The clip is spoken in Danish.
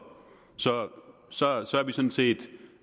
så er vi sådan set